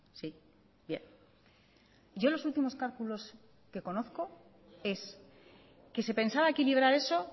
sí bien yo los últimos cálculos que conozco es que se pensaba equilibrar eso